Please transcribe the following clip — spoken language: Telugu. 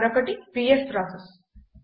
మరొకటి పిఎస్ ప్రాసెస్